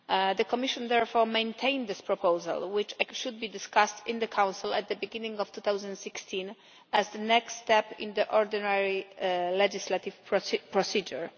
The Commission, therefore, maintained this proposal, which should be discussed in the Council at the beginning of 2016 as the next step in the ordinary legislative procedure.